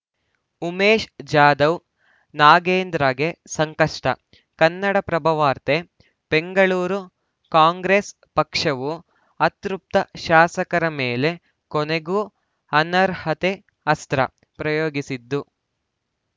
ಉಮೇಶ್‌ ಜಾಧವ್‌ ನಾಗೇಂದ್ರಗೆ ಸಂಕಷ್ಟ ಕನ್ನಡಪ್ರಭ ವಾರ್ತೆ ಬೆಂಗಳೂರು ಕಾಂಗ್ರೆಸ್‌ ಪಕ್ಷವು ಅತೃಪ್ತ ಶಾಸಕರ ಮೇಲೆ ಕೊನೆಗೂ ಅನರ್ಹತೆ ಅಸ್ತ್ರ ಪ್ರಯೋಗಿಸಿದ್ದು